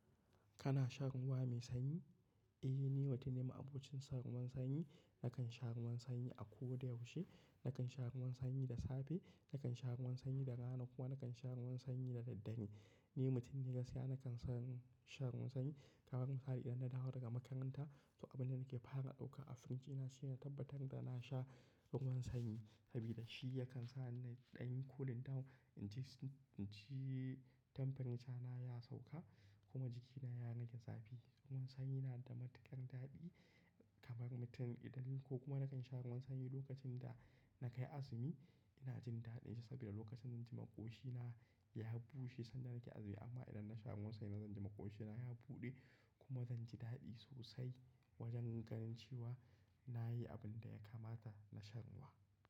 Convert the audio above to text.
Kana shan ruwa mai sanyi? Eh, ni mutum ne ma abokin san ruwan sanyi. Nakan sha ruwan sanyi a ko da yaushe. Nakan sha ruwan sanyi da safe, nakan sha ruwan sanyi da rana kuma nakan sha ruwan sanyi da daddare. Ni mutum ne gaskiya nakan shan ruwan sanyi. Kaman misali idan na dawo daga makaranta, to abin da nake fara ɗauka a firij ina shine tabbatar da na sha ruwan sanyi saboda shi yakan sa ni ɗan yi cooling down. In ji, in ji temperature na ya sauka kuma jikina ya rage zafi. Ruwan sanyi na da matuƙar daɗi kaman mutum idan ko kuma nakan sha ruwan sanyi lokacin da na kai azumi ina jin daɗinsa saboda lokacin zan ji makwoshina ya bushe sanda nake azumi. Amma idan na sha ruwan sanyi zan ji makwoshina ya buɗe kuma zan ji daɗi sosai wajen ganin cewa na yi abin da ya kamata na sha ruwa.